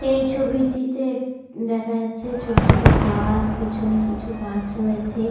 এই ছবিটিতে দেখা যাচ্ছে ছোট ছোট গাছ পিছনে কিছু গাছ রয়েছে।